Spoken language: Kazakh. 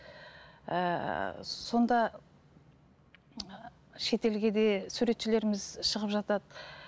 ііі сонда і шетелге де суретшілеріміз шығып жатады